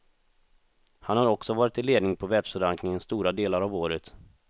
Han har också varit i ledning på världsrankingen stora delar av året.